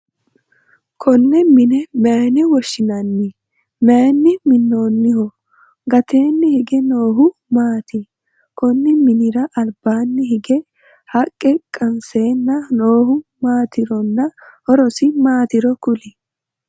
Konne mine mayinne woshinnanni? Mayinni minoonniho? Gateenni hige noohu maati? Konni minnira albaanni hige haqqa qanseenna noohu maatironna horosi maatiro kuli?